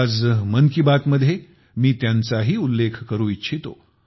आज मन की बात मध्ये मी त्यांचाही उल्लेख करू इच्छितो